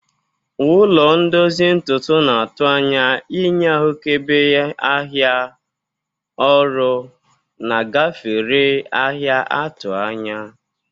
Ụlọ ndozi ntutu na atu anya inye ahụkebe ahịa ọrụ na gafere ahịa 'atụ anya.